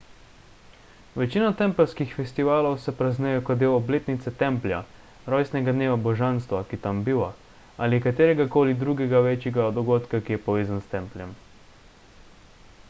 večina tempeljskih festivalov se praznuje kot del obletnice templja rojstnega dneva božanstva ki tam biva ali katerega koli drugega večjega dogodka ki je povezan s templjem